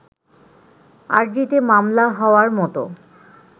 আর্জিতে মামলা হওয়ার মতো